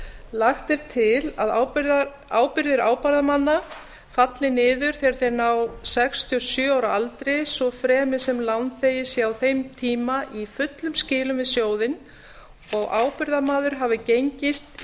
lagt er til að ábyrgðir ábyrgðarmanna falli niður þegar þeir ná sextíu og sjö ára aldri svo fremi sem lánþegi sé á þeim tíma í fullum skilum við sjóðinn og ábyrgðarmaður hafi gengist í